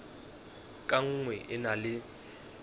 ka nngwe e na le